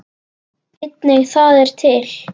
Einnig það er til.